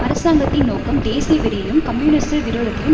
அரசாங்கத்தின் நோக்கம் தேசியவெறியையும் கம்யூனிச விரோதத்தையும்